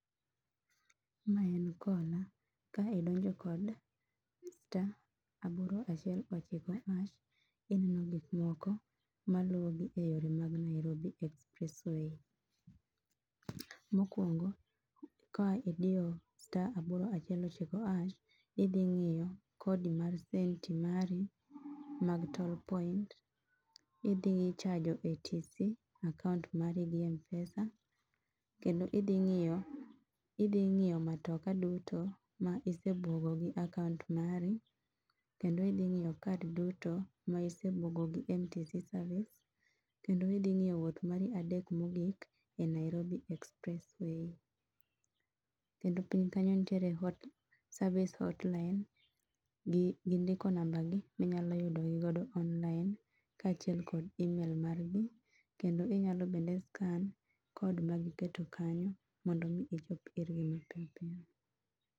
Mae en kola, kae donjo kod star aboro achiel ochiko hash ineno gik moko maluo gi e yore mag Nairobi Expressway. Mokuongo ka idiyo star aboro achiel ochiko hash, idhi ng'iyo kodi mar senti mari mar toll point, idhi chajo ATC akauntu mari gi Mpesa kendo idhi ngiyo, idhi ng'iyo matoka duto ma isebugo gi akaunt mari kendo idhi ng'iyo, ngiyo kad duto ma isbugogi MTC service kendo idhi ngiyo wuoth mari adek mogik e Nairobi Expressway. Kendo piny kanyo nitie hot, service hotline, gindiko nambagi ma minyalo yudo gi godo online kachiel kod email margi kendo inyalo scan code magiketo kanyo mondo mi ichop irgi mapiyo piyo